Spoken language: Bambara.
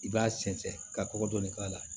I b'a sɛnsɛn ka kɔkɔ dɔnnin k'a la